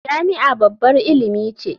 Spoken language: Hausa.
Jami'a babbar ilimi ce.